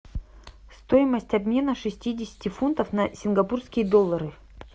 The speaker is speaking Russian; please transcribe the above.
стоимость обмена шестидесяти фунтов на сингапурские доллары